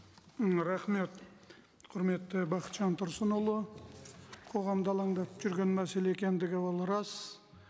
м рахмет құрметті бақытжан тұрсынұлы қоғамды алаңдатып жүрген мәселе екендігі ол рас